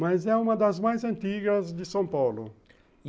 Mas é uma das mais antigas de São Paulo.